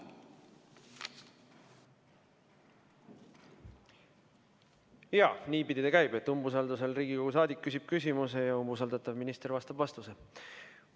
Jaa, niipidi see käib, et umbusalduse korral Riigikogu liige küsib küsimuse ja umbusaldatav minister annab vastuse.